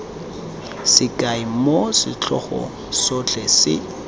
sekai moo setlhogo sotlhe se